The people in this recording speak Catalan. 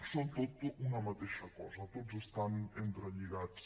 són tots una mateixa cosa tots estan entrelligats